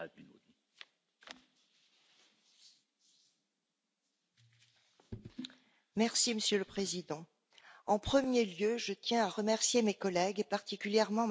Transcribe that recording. Monsieur le Président, en premier lieu, je tiens à remercier mes collègues, et particulièrement Mme Niebler, pour l'excellent travail réalisé en commission et en négociations interinstitutionnelles.